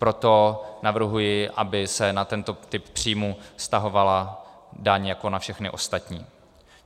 Proto navrhuji, aby se na tento typ příjmů vztahovala daň jako na všechny ostatní.